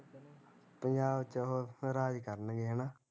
ਪੰਜਾਬ ਚ ਉਹ ਰਾਜ ਕਰਨਗੇ ਹੈਨਾ